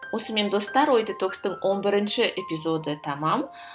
осымен достар ой детокстың он бірінші эпизоды тәмам